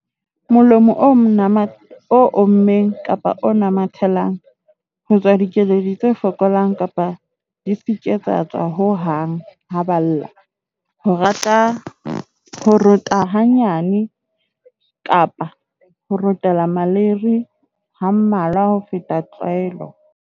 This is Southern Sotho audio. Molomo o ommeng kapa o namathelang. Ho tswa dikeledi tse fokolang kapa di se ke tsa tswa ho hang ha ba lla. Ho rota hanyane kapa ho rotela maleiri ha mmalwa ho feta tlwaelo.